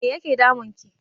Me yake damun ki?